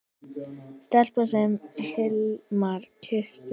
Stelpan sem Hilmar kyssti.